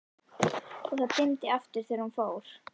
og það dimmdi aftur þegar hún fór.